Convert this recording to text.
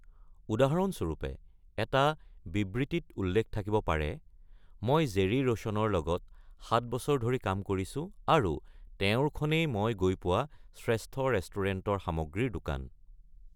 উদাহৰণস্বৰূপে, এটা বিবৃতিত উল্লেখ থাকিব পাৰে: "মই জেৰী ৰোচনৰ লগত ৭ বছৰ ধৰি কাম কৰিছো আৰু তেওঁৰখনেই মই গৈ পোৱা শ্ৰেষ্ঠ ৰেষ্টুৰেণ্টৰ সামগ্ৰীৰ দোকান!"